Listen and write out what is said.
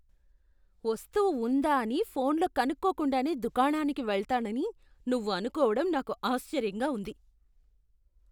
వస్తువు ఉందా అని ఫోన్లో కనుక్కోకుండానే దుకాణానికి వెళ్తానని నువ్వు అనుకోవడం నాకు ఆశ్చర్యంగా ఉంది.